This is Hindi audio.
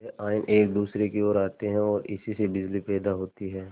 यह आयन एक दूसरे की ओर आते हैं ओर इसी से बिजली पैदा होती है